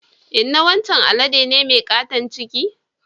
Inna wancan alade ne mai katon ciki.